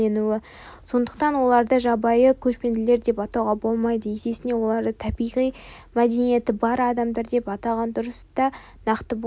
сондықтан оларды жабайы көшпелілер деп атауға болмайды есесіне оларды табиғи мәдениеті бар адамдар деп атаған дұрыс та нақты болар